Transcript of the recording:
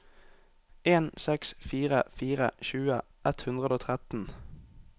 en seks fire fire tjue ett hundre og tretten